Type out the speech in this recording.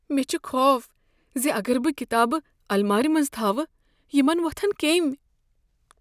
مےٚ چھ خوف ز اگر بہٕ کتابہٕ المارِ منز تھاوٕ، یِمن وۄتھن کیمۍ۔